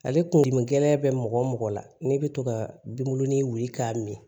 Ale kun dimi gɛlɛn bɛ mɔgɔ o mɔgɔ la n'i bɛ to ka binkurunin wuli k'a min